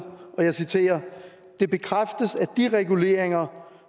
og jeg citerer det bekræftes at de reguleringer